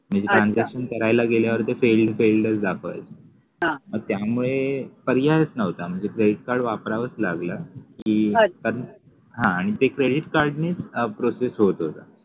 transaction करायला गेल्यावर ते failed च दाखवायच मग त्यामुळे पर्यायच नव्हता म्हणजे credit card वापरावच लागलं की हा आणि ते credit card काढणे process होत होत